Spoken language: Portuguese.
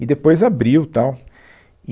E depois abriu, tal.